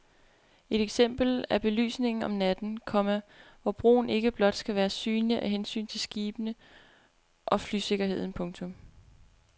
Et eksempel er belysningen om natten, komma hvor broen ikke blot skal være synlig af hensyn til skibene og flysikkerheden. punktum